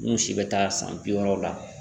N'u si bɛ taa san bi wɔɔrɔw la